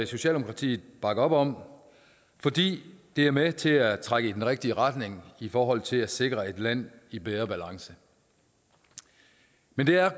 socialdemokratiet bakker op om fordi de er med til at trække i den rigtige retning i forhold til at sikre et land i bedre balance men det er